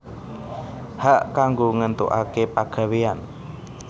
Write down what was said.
Hak kanggo ngéntukaké pegawéyan